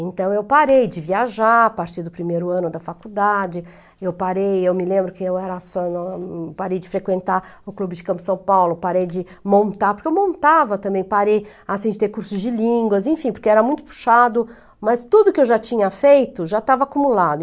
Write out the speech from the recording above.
Então, eu parei de viajar, a partir do primeiro ano da faculdade, eu parei, eu me lembro que eu era só, parei de frequentar o Clube de Campos de São Paulo, parei de montar, porque eu montava também, parei, assim, de ter cursos de línguas, enfim, porque era muito puxado, mas tudo que eu já tinha feito, já estava acumulado.